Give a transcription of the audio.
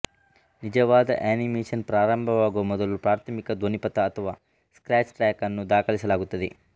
ನಿಜವಾದ ಅನಿಮೇಷನ್ ಪ್ರಾರಂಭವಾಗುವ ಮೊದಲು ಪ್ರಾಥಮಿಕ ಧ್ವನಿಪಥ ಅಥವಾ ಸ್ಕ್ರ್ಯಾಚ್ ಟ್ರ್ಯಾಕ್ ಅನ್ನು ದಾಖಲಿಸಲಾಗುತ್ತದೆ